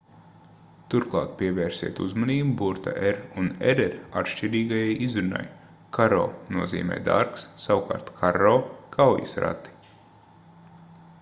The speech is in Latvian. turklāt pievērsiet uzmanību burta r un rr atšķirīgajai izrunai caro nozīmē dārgs savukārt carro - kaujas rati